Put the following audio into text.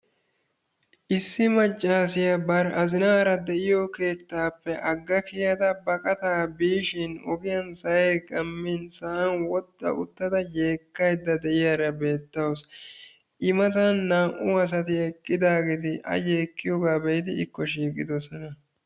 issi maccassiya bar azzinaara de'iyo keettappe agga kiyadda baqattaa biishin ogiyaan sa'ay qammin sa'an woxxa uttida yeekkaydda beettawus, i matan naa''u asati eqqidaageeti a yeekkiyooga be'idi ikko shiiqidoosona.